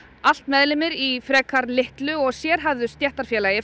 allt meðlimir í frekar litlu og sérhæfðu stéttarfélagi